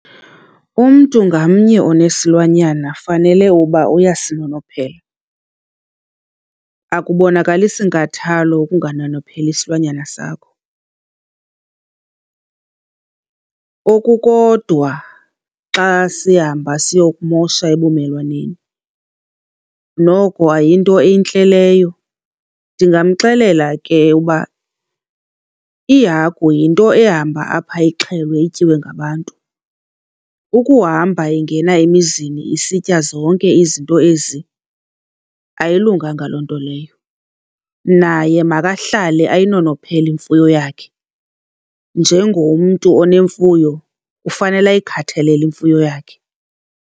Umntu ngamnye onesilwanyana fanele uba uyasinonophela. Akubonakalisi nkathalo ukunganonopheli isilwanyana sakho kokukodwa xa sihamba siyokumosha ebumelwaneni, noko ayinto entle leyo. Ndingamxelela ke uba ihagu yinto ehamba apha ixhelwe ityiwe ngabantu. Ukuhamba ingena emizini isitya zonke izinto ezi, ayilunganga loo nto leyo. Naye makahlale ayinonophele imfuyo yakhe. Njengomntu onemfuyo ufanele ayikhathalele imfuyo yakhe.